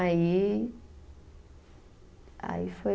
Aí. Aí foi.